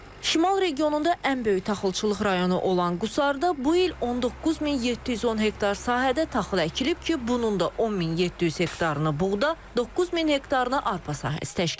Şimal regionunda ən böyük taxılçılıq rayonu olan Qusarda bu il 19710 hektar sahədə taxıl əkilib ki, bunun da 10700 hektarını buğda, 9000 hektarını arpa sahəsi təşkil edir.